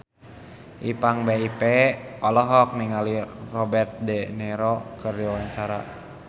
Ipank BIP olohok ningali Robert de Niro keur diwawancara